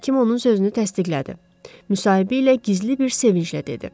Həkim onun sözünü təsdiqlədi, müsahibə ilə gizli bir sevinclə dedi.